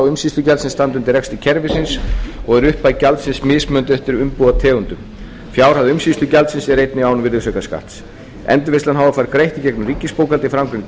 sem standa á undir rekstri kerfisins og er upphæð gjaldsins mismunandi eftir umbúðategundum fjárhæð umsýslugjaldsins er einnig án virðisaukaskatts endurvinnslan h f fær greitt í gegnum ríkisbókhaldið framangreind